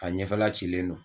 A ɲɛfɛla cilen don